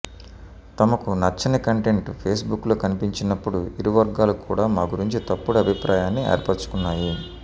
తమకు నచ్చని కంటెంట్ ఫేస్బుక్లో కనిపించినప్పుడు ఇరువర్గాలు కూడా మా గురించి తప్పుడు అభిప్రాయాన్ని ఏర్పరచుకున్నాయి